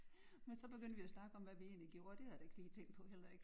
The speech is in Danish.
Men så begyndte vi at snakke om hvad vi egentlig gjorde og det har jeg da ikke tænkt på heller ikke